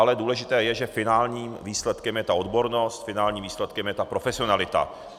Ale důležité je, že finálním výsledkem je ta odbornost, finálním výsledkem je ta profesionalita.